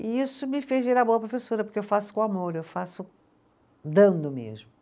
E isso me fez virar boa professora, porque eu faço com amor, eu faço dando mesmo.